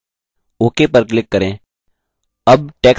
ok पर click करें